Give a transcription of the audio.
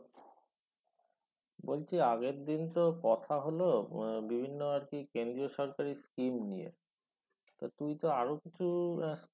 বলছি আগের ‍দিন তো কথা হল উম বিভিন্ন আরকি কেন্দ্রিয় সরকারি scheme নিয়ে তা তুই তো আরো কিছু আহ